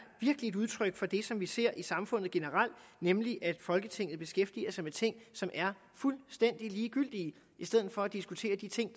et udtryk for det som vi ser i samfundet generelt nemlig at folketinget beskæftiger sig med ting som er fuldstændig ligegyldige i stedet for at diskutere de ting